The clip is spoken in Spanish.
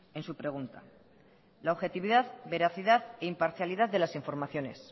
en su pregunta la objetividad veracidad e imparcialidad de la informaciones